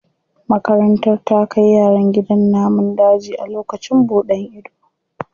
Makarantar ta kai yaran gidan namun daji a lokacin buɗan ido.